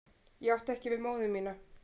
Ég átti ekki við móður mína.